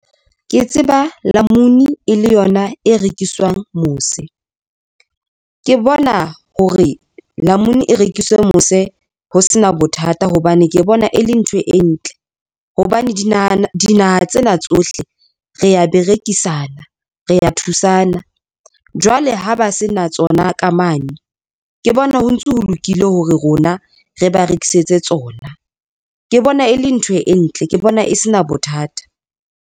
Ke tseba namunu e le yona e rekiswang mose, ke bona hore namunu e rekiswe mose ho sena bothata hobane ke bona e le ntho e ntle hobane dinaha tsena tsohle, rea berekisana rea thusana jwale ha ba se na tsona ka mane, ke bona ho ntso ho lokile hore rona re ba rekisetse tsona, ke bona e le ntho e ntle, ke bona e se na bothata.